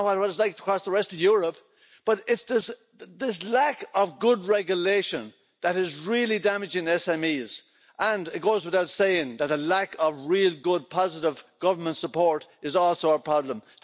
I don't know what it's like across the rest of Europe, but it's this lack of good regulation that is really damaging SMEs, and it goes without saying that a lack of real good positive government support is also a problem.